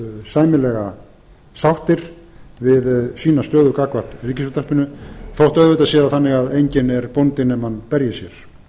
sæmilega sáttir við sína stöðu gagnvart ríkisútvarpinu þótt auðvitað sé það þannig að enginn er bóndi nema hann berji sér